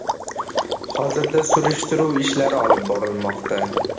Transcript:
Hozirda surishtiruv ishlari olib borilmoqda.